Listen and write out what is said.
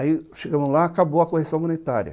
Aí, chegamos lá, acabou a correção monetária.